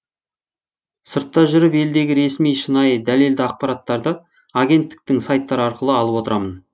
сыртта жүріп елдегі ресми шынайы дәлелді ақпараттарды агенттіктің сайттары арқылы алып отырамын